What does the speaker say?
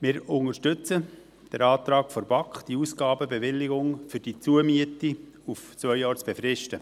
Wir unterstützen den Antrag der BaK, die Ausgabenbewilligung für die Zumiete auf zwei Jahre zu befristen.